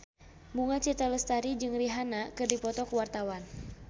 Bunga Citra Lestari jeung Rihanna keur dipoto ku wartawan